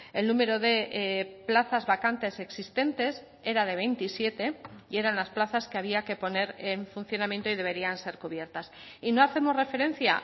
el número de plazas vacantes existentes era de veintisiete y eran las plazas que había que poner en funcionamiento y deberían ser cubiertas y no hacemos referencia